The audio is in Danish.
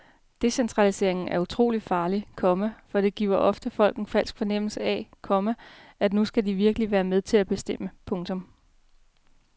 Decentralisering er utrolig farligt, komma for det giver ofte folk en falsk fornemmelse af, komma at nu skal de virkelig være med til at bestemme. punktum